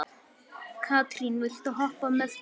Katrín, viltu hoppa með mér?